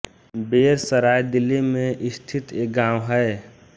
बेर सराय दिल्ली में स्थित एक गाँव है